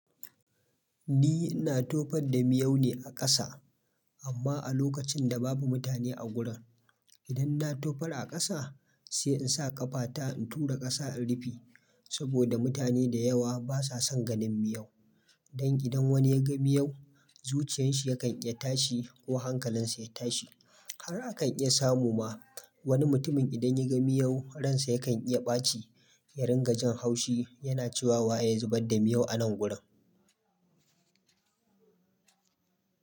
Ni ina tofar da miyau ne a ƙasa, amma a lokacin da babu mutane a gurin. Idan na tofar a ƙasa sai in sa ƙafata in tura ƙasa in rufe, saboda mutane da yawa ba sa son ganin miyau. Don idan wani ya ga miyau, zuciyanshi yakan iya tashi ko hankalinsa ya tashi. Har akan iya samu ma wani mutumin idan ya ga miyau, ransa yakan iya ɓaci, ya ringa jan haushi, yana cewa wa ya zubar da miyau a nan gurin.